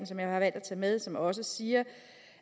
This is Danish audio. som jeg har valgt at tage med som også siger